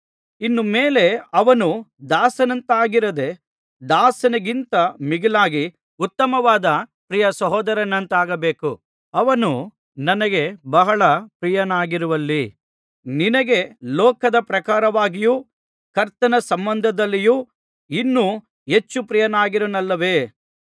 ಇನ್ನು ಮೇಲೆ ಅವನು ದಾಸನಂತಾಗಿರದೆ ದಾಸನಿಗಿಂತ ಮಿಗಿಲಾಗಿ ಉತ್ತಮವಾದ ಪ್ರಿಯ ಸಹೋದರನಂತಾಗಬೇಕು ಅವನು ನನಗೆ ಬಹಳ ಪ್ರಿಯನಾಗಿರುವಲ್ಲಿ ನಿನಗೆ ಲೋಕದ ಪ್ರಕಾರವಾಗಿಯೂ ಕರ್ತನ ಸಂಬಂಧದಲ್ಲಿಯೂ ಇನ್ನೂ ಹೆಚ್ಚು ಪ್ರಿಯನಾಗಿರುವನಲ್ಲವೇ